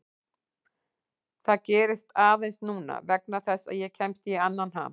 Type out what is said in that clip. Það gerist aðeins núna vegna þess að ég kemst í annan ham.